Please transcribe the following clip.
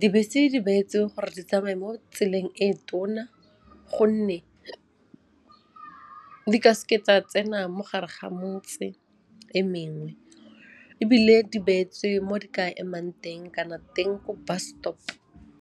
Dibese di beetswe gore di tsamaye mo tseleng e tona gonne di ka seke tsa tsena mo gare ga motse e mengwe ebile di beetswe mo di ka emang teng kana teng ko bus stop.